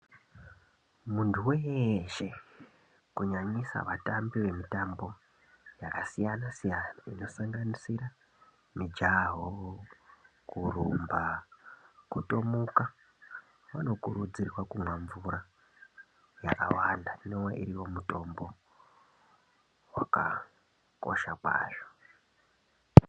Muntu weeshe kunyanyise vatambi vemitambo yakasiyana-siyana inosanganisira mijaho, kurumba, kutomuka vanokurudzirwa kumwa mvura yakawanda inove iyo mutombo wakakosha kwazvo.